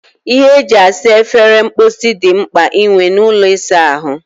Ihe eji esa efere mposi dị mkpa inwe n'ụlọ ịsa ahụ